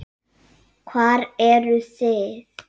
Hvar eruð þið?